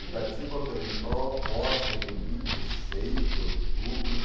Itatiba eu tomei pro posse em vinte e seis de outubro de